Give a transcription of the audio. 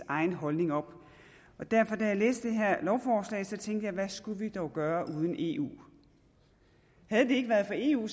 egen holdning op så da jeg læste det her lovforslag tænkte jeg hvad skulle vi dog gøre uden eu havde det ikke været for eu